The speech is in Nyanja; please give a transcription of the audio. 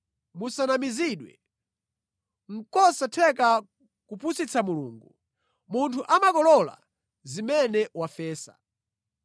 Musanamizidwe: nʼkosatheka kupusitsa Mulungu. Munthu amakolola zimene wafesa.